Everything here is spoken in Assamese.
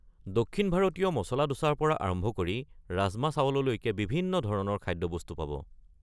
দক্ষিণ ভাৰতীয় মচলা ডোছাৰ পৰা আৰম্ভ কৰি ৰাজমা-চাৱললৈকে বিভিন্ন ধৰণৰ খাদ্যবস্তু পাব।